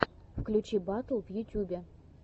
включи батл в ютубе